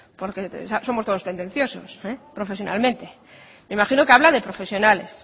porque somos todos tendenciosos profesionalmente me imagino que habla de profesionales